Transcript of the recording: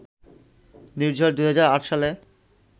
নির্ঝর ২০০৮ সালে